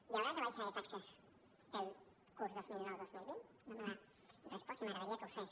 hi haurà rebaixa de taxes pel curs dos mil dinou dos mil vint no me l’ha respost i m’agradaria que ho fes